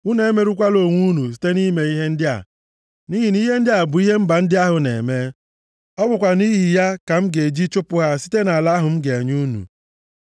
“ ‘Unu emerụkwala onwe unu site na-ime ihe ndị a, nʼihi na ihe ndị a bụ ihe mba ndị ahụ na-eme. Ọ bụkwa nʼihi ya ka m ga-eji chụpụ ha site nʼala ahụ m ga-enye unu.